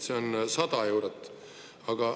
See on 100 eurot.